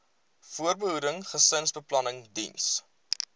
voorbehoeding gesinsbeplanning diens